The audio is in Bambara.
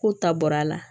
K'u ta bɔra a la